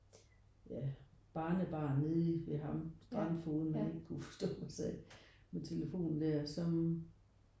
Ja barnebarn nede ved ham strandfogeden man ikke kunne forstå og sad med telefonen der som